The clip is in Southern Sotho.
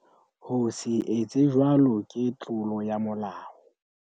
Ho se etse jwalo ke tlolo ya molao.